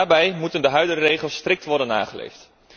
Daarbij moeten de huidige regels strikt worden nageleefd.